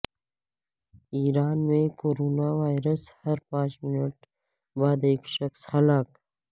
ایران میں corona virus ہر پانچ منٹ بعد ایک شخص ہلاک